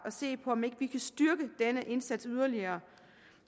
at se på om ikke vi kan styrke denne indsats yderligere